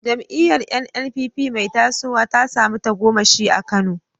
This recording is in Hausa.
Jam’iyyar NNPP mai tasowa ta samu tagomashi a Kano.